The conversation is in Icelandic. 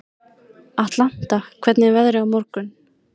Atlanta, hvernig er veðrið á morgun?